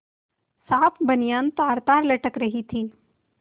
साफ बनियान तारतार लटक रही थी